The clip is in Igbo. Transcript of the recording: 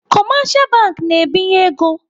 Kọmashal bank na-ebinye ego.